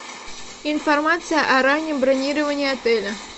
информация о раннем бронировании отеля